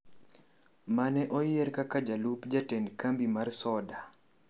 mane oyier kaka jalup jatend kambi mar soda